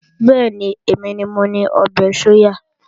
Bẹ́ẹ̀ni, èmi ni mo ni ọbẹ̀ sóyà